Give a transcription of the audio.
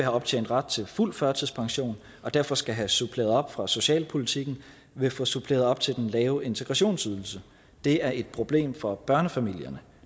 optjent ret til fuld førtidspension og derfor skal have suppleret op fra socialpolitik vil få suppleret op til den lave integrationsydelse det er et problem for børnefamilierne